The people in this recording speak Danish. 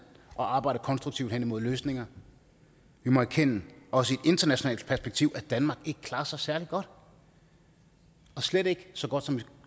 og arbejder konstruktivt hen imod løsninger vi må erkende også i internationalt perspektiv at danmark ikke klarer sig særlig godt og slet ikke så godt som vi